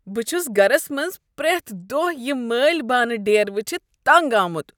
بہٕ چھس گرس منٛز پریتھ دۄہہ یم مٲلہٕ بانہٕ ڈیر وٕچھتھ تنٛگ آمت۔